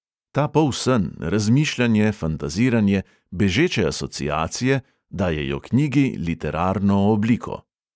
Ta polsen, razmišljanje, fantaziranje, bežeče asociacije dajejo knjigi literarno obliko.